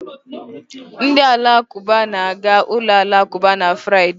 Ndị Alakụba na-aga ụlọ alakụba na Fraịde.